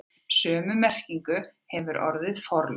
Sömu merkingu hefur orðið forlög.